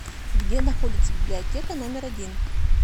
где находится библиотека номер один